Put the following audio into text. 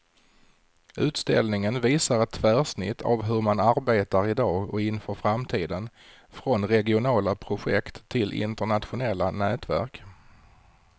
Utställningen visar ett tvärsnitt av hur man arbetar i dag och inför framtiden, från regionala projekt till internationella nätverk.